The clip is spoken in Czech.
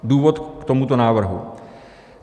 Důvod k tomuto návrhu.